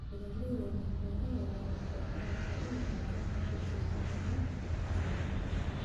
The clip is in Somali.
Beeralayda leh beero yaryar waxay u muuqdaan inay ku tiirsan yihiin shaqada gacanta.